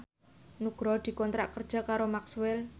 Nugroho dikontrak kerja karo Maxell